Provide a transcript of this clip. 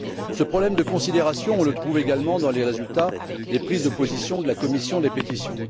Ce problème de considération se rencontre également dans les résultats des prises de position de la commission des pétitions.